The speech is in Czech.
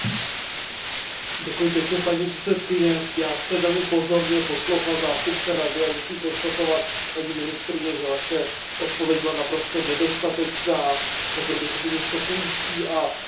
Paní předsedající, já jsem velmi pozorně poslouchal zástupce Rady a musím konstatovat, paní ministryně, že Vaše odpověď byla naprosto nedostatečná, řekl bych úplně šokující a absolutně ji odmítám.